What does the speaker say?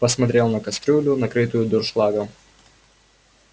посмотрел на кастрюлю накрытую дуршлагом